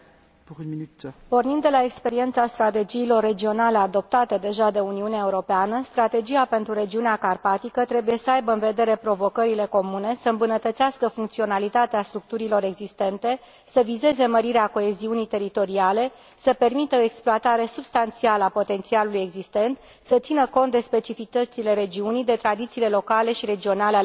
Pornind de la experiența strategiilor regionale adoptate deja de Uniunea Europeană, Strategia pentru regiunea carpatică trebuie să aibă în vedere provocările comune, să îmbunătățească funcționalitatea structurilor existente, să vizeze mărirea coeziunii teritoriale, să permită o exploatare substanțială a potențialului existent, să țină cont de specificitățile regiunii, de tradițiile locale și regionale ale populației.